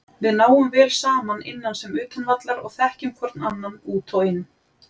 Við náum vel saman innan sem utan vallar og þekkjum hvorn annan út og inn.